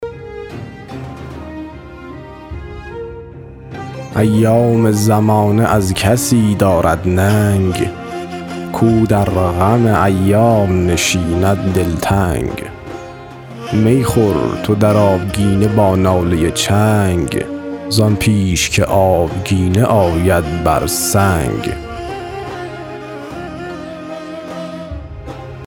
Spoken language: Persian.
ایام زمانه از کسی دارد ننگ کو در غم ایام نشیند دلتنگ می خور تو در آبگینه با ناله چنگ زان پیش که آبگینه آید بر سنگ